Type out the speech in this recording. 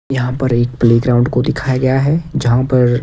यहां पर एक प्लेग्राउंड को दिखाया गया है जहां पर--